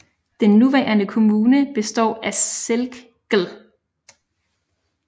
Den nuværende kommune består af Selk gl